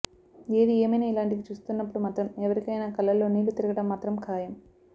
ఏది ఏమైనా ఇలాంటివి చూస్తున్నప్పుడు మాత్రం ఎవరికైనా కళ్ళలో నీళ్ళు తిరగడం మాత్రం ఖాయం